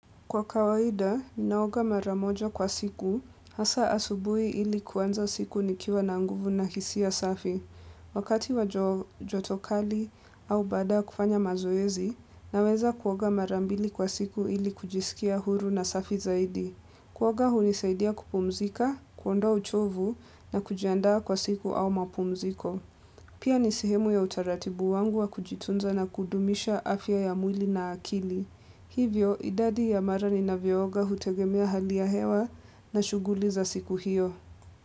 Kwa kawaida, ninaoga mara moja kwa siku, hasa asubuhi ili kuanza siku nikiwa na nguvu na hisia safi. Wakati wa joto kali au baada ya kufanya mazoezi, naweza kuoga mara mbili kwa siku ili kujisikia huru na safi zaidi. Kuoga hunisaidia kupumzika, kuondoa uchovu na kujiandaa kwa siku au mapumziko. Pia ni sehemu ya utaratibu wangu wa kujitunza na kudumisha afya ya mwili na akili. Hivyo idadi ya mara ninavyooga hutegemea hali ya hewa na shughuli za siku hiyo.